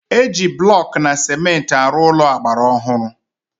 Eji blọkụ na cementị arụ Ụlọ agbara ọhụrụ